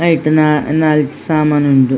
ಐಟ್ ನಾ ನಾಲ್ ಸಾಮಾನ್ ಉಂಡು.